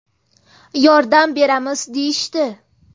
Yordam beramiz deyishdi.